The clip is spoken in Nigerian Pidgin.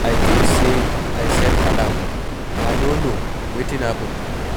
I think say I set alarm, I no know wetin happen?